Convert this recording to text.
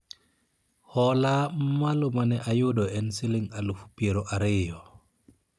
hola mamalo mane ayudo en siling alufu piero ariyo